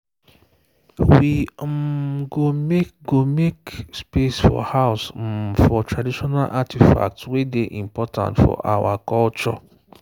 we um go make go make space for house um for traditional artifact way day important for our um culture